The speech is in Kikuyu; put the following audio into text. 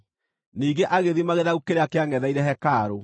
Ningĩ agĩthima gĩthaku kĩrĩa kĩangʼetheire hekarũ;